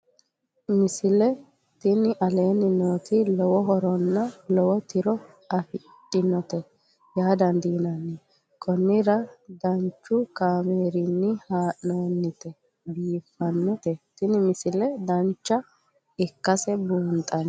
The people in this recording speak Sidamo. misile tini aleenni nooti lowo horonna lowo tiro afidhinote yaa dandiinanni konnira danchu kaameerinni haa'noonnite biiffannote tini misile dancha ikkase buunxanni